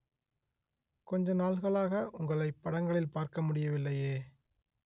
கொஞ்ச நாள்களாக உங்களை படங்களில் பார்க்க முடியவில்லையே